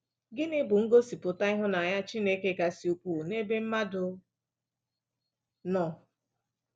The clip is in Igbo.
Gịnị bụ ngosipụta ịhụnanya Chineke kasị ukwuu n'ebe mmadụ nọ?